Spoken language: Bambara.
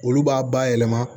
Olu b'a bayɛlɛma